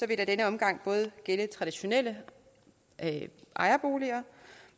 det i denne omgang gælde traditionelle ejerboliger